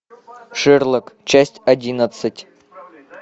шерлок часть одиннадцать